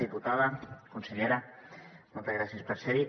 diputats consellera moltes gràcies per ser hi